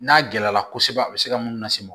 N'a gɛlɛyara kosɛbɛ a bɛ se ka mun lase mɔgɔ ma